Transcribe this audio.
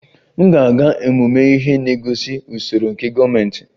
M ga-aga ọmụmụ ihe na-egosi usoro nke gọọmentị